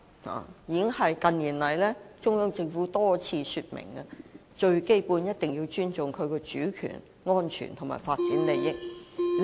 中央政府近年已多次說明，最基本一定要尊重國家的主權、安全和發展利益。